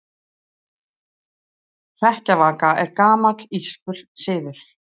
Hrekkjavaka er gamall írskur siður.